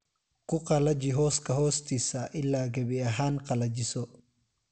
Ku qallaji hooska hoostiisa ilaa gebi ahaan qallajiso